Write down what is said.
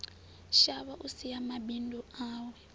shavha u sia mabindu awe